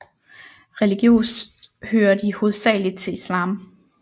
Religiøst hører de hovedsageligt til islam